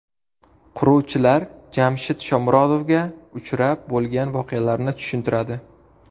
Quruvchilar Jamshid Shomurodovga uchrab, bo‘lgan voqealarni tushuntiradi.